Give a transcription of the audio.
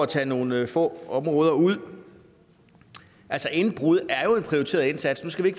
tage nogle få områder ud altså indbrud er jo en prioriteret indsats nu skal vi